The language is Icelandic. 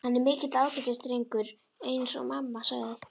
Hann er mikill ágætisdrengur- eins og mamma sagði.